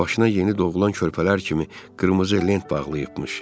Başına yeni doğulan körpələr kimi qırmızı lent bağlıyıbmış.